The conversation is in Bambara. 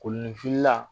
Kolonifinla